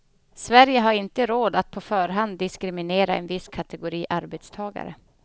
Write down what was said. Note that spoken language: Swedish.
Sverige har inte råd att på förhand diskriminera en viss kategori arbetstagare.